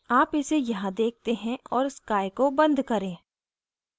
आप इसे यहाँ देखते हैं और sky sky को बंद करें